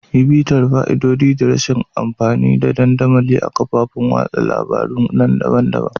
Yi bitar fa'idodi da rashin amfani da dandamali na kafofin watsa labarun daban-daban.